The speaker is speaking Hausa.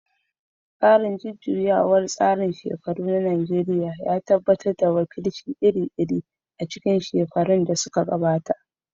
Tsarin jujjuyawar tsarin shekaru na Najeriya ya tabbatar da wakilci iri-iri a cikin shekarun da suka gabata.